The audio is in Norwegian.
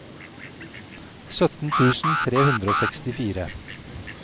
sytten tusen tre hundre og sekstifire